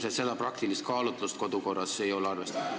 Aga ilmselt seda praktilist kaalutlust kodukorra koostamisel ei ole arvestatud.